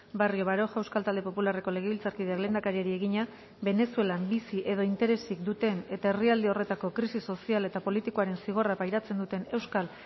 barrio baroja euskal talde popularreko legebiltzarkideak lehendakariari egina venezuelan bizi edo interesik duten eta herrialde horretako krisi sozial eta politikoaren zigorra pairatzen duten euskal